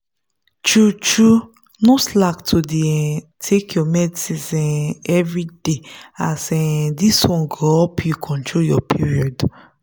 true-true no slack to dey um take your medicines um everyday as um this one go help you control your period.